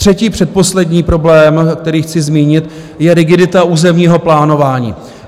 Třetí, předposlední problém, který chci zmínit, je rigidita územního plánování.